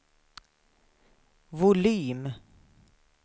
volym